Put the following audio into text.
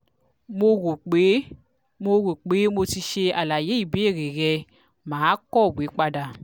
mo rope mo rope mo ti ṣe alaye ibeere rẹ maa kọwe pada